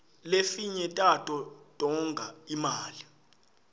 lefinye tato tonga imali